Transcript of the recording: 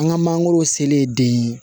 An ka mangoro sele den ye